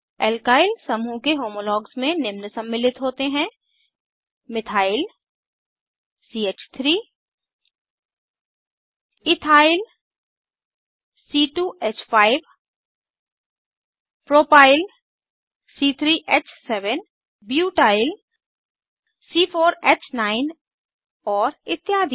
alkyl समूह के homologues में निम्न सम्मिलित होते हैं मिथाइल च3 इथाइल c2ह5 प्रोपाइल c3ह7 ब्यूटाइल c4ह9 और इत्यादि